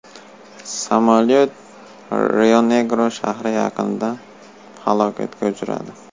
Samolyot Rionegro shahri yaqinida halokatga uchradi.